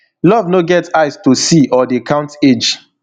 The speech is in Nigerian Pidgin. love no get eyes to see or dey count age